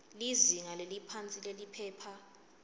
lizinga leliphansi liphepha